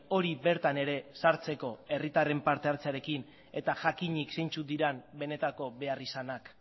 hori bertan ere sartzeko herritarren parte hartzearekin eta jakinik zeintzuk diren benetako beharrizanak